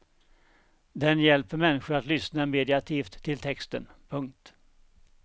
Den hjälper människor att lyssna meditativt till texten. punkt